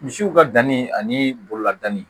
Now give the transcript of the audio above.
Misiw ka danni ani bolola danni